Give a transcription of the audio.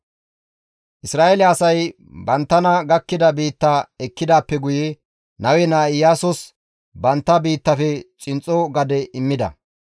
Isra7eele asay banttana gakkida biitta ekkidaappe guye Nawe naa Iyaasos bantta biittafe xinxxo gade immida;